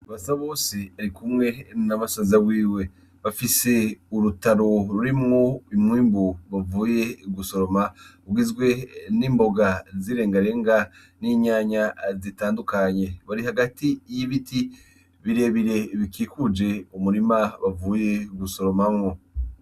BASABOSE arikumwe nabasaza biwe bafise urutaro rurimwo umwimbu bavuye gusoroma bigizwe n'imboga zi rengarenga ni nyanya zitandukanye, bari hagati y'ibiti birebire bikikuje umurima bavuye gusoromamwo.